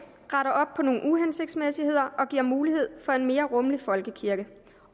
retter op på nogle uhensigtsmæssigheder og giver mulighed for en mere rummelig folkekirke